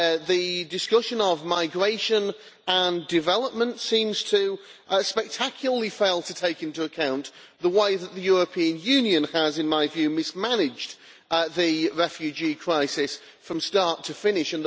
The discussion of migration and development seems to spectacularly fail to take into account the way that the European Union has, in my view, mismanaged the refugee crisis from start to finish.